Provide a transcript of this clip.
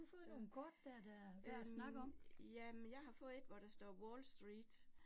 Øh øh jamen, jeg har fået 1, hvor der står Wall Street